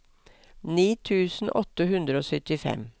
ni tusen åtte hundre og syttifem